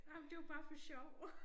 Ej men det jo bare for sjov